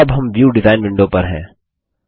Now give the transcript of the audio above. अबहम view design window पर हैं